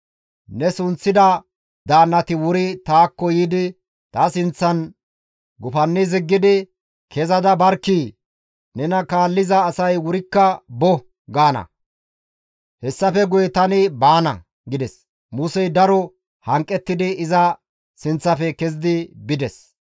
Ne sunththida daannati wuri taakko yiidi, ta sinththan gufanni ziggidi, ‹Kezada barkkii! Nena kaalliza asay wurikka bo!› gaana. Hessafe guye tani baana» gides. Musey daro hanqettidi iza sinththafe kezidi bides.